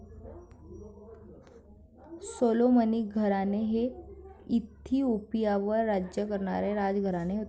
सॉलोमनी घराणे हे इथिओपियावर राज्य करणारे राजघराणे होते.